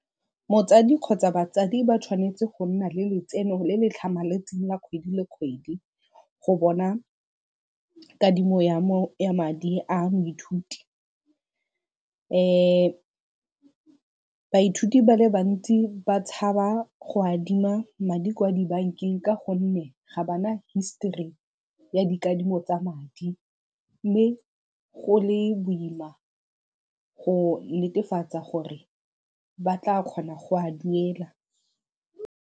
Motsadi kgotsa batsadi ba tshwanetse go nna le letseno le le tlhamaletseng la kgwedi le kgwedi go bona kadimo ya madi a moithuti. baithuti ba le bantsi ba tshaba go adima madi kwa dibankeng ka gonne ga ba na history ya dikadimo tsa madi mme go le boima go netefatsa gore ba tla kgona go a duela.